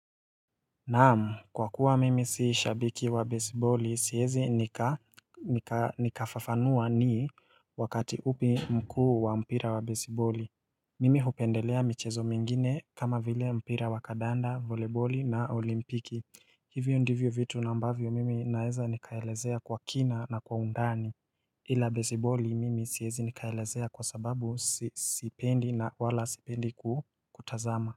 Naamu, kwa kuwa mimi si shabiki wa baseball siezi nikafafanua ni wakati upi mkuu wa mpira wa baseball Mimi hupendelea michezo mingine kama vile mpira wa kadanda, voleboli na olimpiki Hivyo ndivyo vitu na ambavyo mimi naeza nikaelezea kwa kina na kwa undani ila baseball mimi siezi nikaelezea kwa sababu sipendi na wala sipendi kutazama.